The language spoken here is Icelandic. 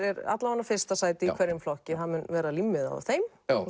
alla vega fyrsta sæti í hverjum flokki það mun vera límmiði á þeim